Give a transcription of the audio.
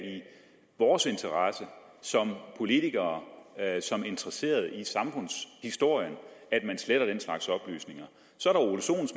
vores interesse som politikere som interesserede i samfundshistorien at man sletter den slags oplysninger så